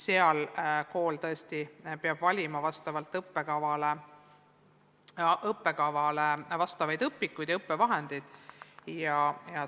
Seal peab kool tõesti valima õppekavale vastavaid õpikuid ja õppevahendeid.